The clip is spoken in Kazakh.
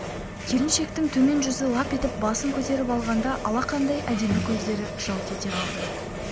келіншектің төмен жүзі лап етіп басын көтеріп алғанда алақандай әдемі көздері жалт ете қалды